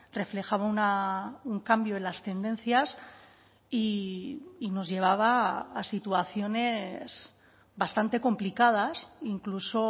reflejaba un cambio en las tendencias y nos llevaba a situaciones bastante complicadas incluso